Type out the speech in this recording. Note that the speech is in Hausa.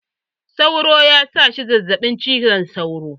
Sauro ya sa shi zazzaɓin cizon sauro.